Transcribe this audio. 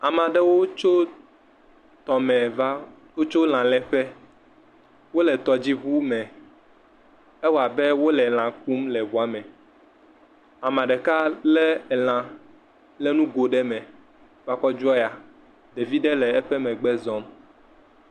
Ameaɖewo tso tɔ me va wo tso lã le ƒe wo le tɔdzi ʋu me e wɔ abe wo le lã kum le ʋua me ame ɖeka le lã le nu go ɖe me va kɔ dzo yia ɖevi ɖe le eƒe megbe zɔm.